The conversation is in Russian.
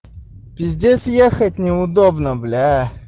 пиздец ехать неудобно блять